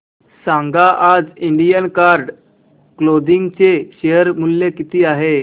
सांगा आज Indian Card Clothing share शेअर मूल्य किती आहे